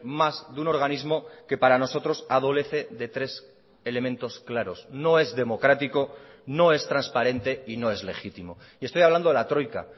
más de un organismo que para nosotros adolece de tres elementos claros no es democrático no es transparente y no es legítimo y estoy hablando de la troika